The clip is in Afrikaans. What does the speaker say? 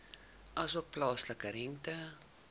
asook plaaslike rente